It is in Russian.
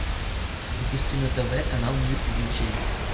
запусти на тв канал мир увлечений